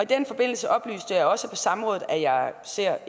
den forbindelse oplyste jeg også på samrådet at jeg ser